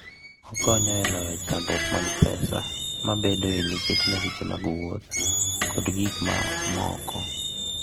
Okonyo e loyo chandruok mag pesa mabedoe nikech masiche mag wuoth kod gik mamoko.